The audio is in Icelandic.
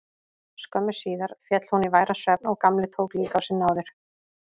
Skömmu síðar féll hún í væran svefn og Gamli tók líka á sig náðir.